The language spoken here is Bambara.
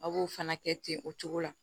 A b'o fana kɛ ten o cogo la